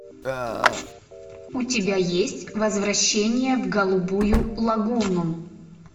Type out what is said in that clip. у тебя есть возвращение в голубую лагуну